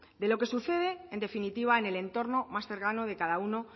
de lo que sucede en definitiva en el entorno más cercano de cada uno